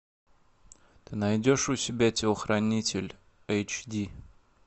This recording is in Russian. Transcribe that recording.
ты найдешь у себя телохранитель эйч ди